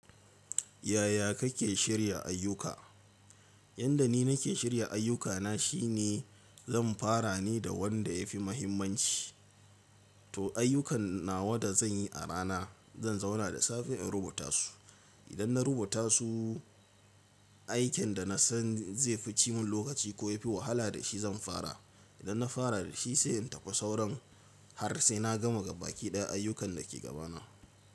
Yaya kake shirya ayyuka? Yanda ni nake shirya ayyukana shine! Zan fara ne da wanda ya fi muhimmanci. To ayyukan nawa da zan yi a rana, zan zauna da safe in rubuta su. Idan na rubuta su, aikin da na san zai fi cimun lokaci ko ya fi wahala da shi zan fara. Idan na fara da shi sai in tafi sauran har sai na gama gaba baki daya ayyukan da ke gabana.